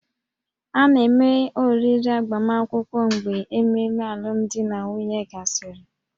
A na-eme oriri agbamakwụkwọ mgbe ememe alụmdi na nwunye gasịrị